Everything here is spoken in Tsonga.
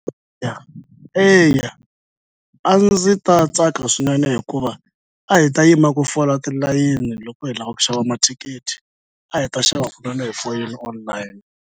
eya a ndzi ta tsaka swinene hikuva a hi ta yima ku fola tilayini loko hi lava ku xava mathikithi a hi ta xava kunene hi foyini online.